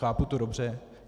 Chápu to dobře?